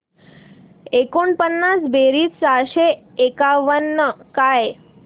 एकोणपन्नास बेरीज चारशे एकावन्न काय